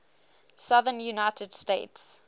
southern united states